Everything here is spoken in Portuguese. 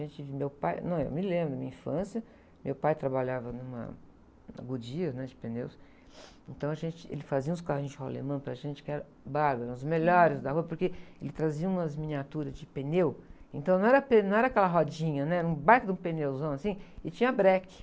de meu pai. Não, eu me lembro da minha infância, meu pai trabalhava numa, na Goodyear, né? De pneus, então a gente, ele fazia uns carrinhos de rolimã para a gente, que eram bárbaros, os melhores da rua, porque ele trazia umas miniaturas de pneu, então não era pê, não era aquela rodinha, né? Era um baita de um pneuzão assim, e tinha breque.